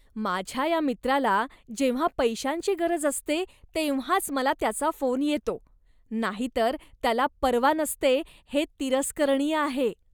माझ्या या मित्राला जेव्हा पैशांची गरज असते तेव्हाच मला त्याचा फोन येतो, नाहीतर त्याला पर्वा नसते हे तिरस्करणीय आहे.